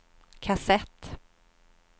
kassett